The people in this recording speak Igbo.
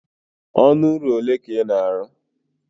ọnụ ụlọ ole ka ị na-arụ?